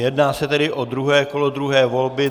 Jedná se tedy o druhé kolo druhé volby.